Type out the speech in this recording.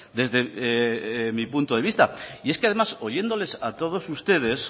desde mi punto de vista y es que además oyéndoles a todos ustedes